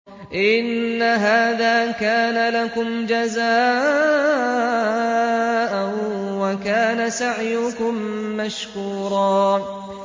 إِنَّ هَٰذَا كَانَ لَكُمْ جَزَاءً وَكَانَ سَعْيُكُم مَّشْكُورًا